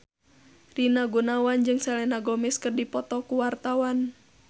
Rina Gunawan jeung Selena Gomez keur dipoto ku wartawan